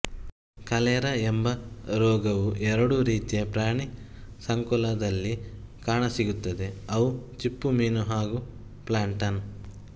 cholera ಎಂಬ ರೋಗವು ಎರಡು ರೀತಿಯ ಪ್ರಾಣಿ ಸಂಕುಲದಲ್ಲಿ ಕಾಣಸಿಗುತ್ತದೆಅವು ಚಿಪ್ಪುಮೀನು ಹಾಗೂ ಪ್ಲಾಂಕ್ಟನ್